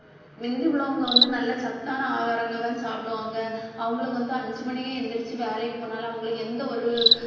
மிந்தி உள்ளவங்க வந்து நல்ல சத்தான ஆகாரங்கதான் சாப்பிடுவாங்க. அவங்களுக்கு வந்து அஞ்சு மணிக்கே எந்திரிச்சு வேலைக்கு போனாலும் அவங்களுக்கு எந்த ஒரு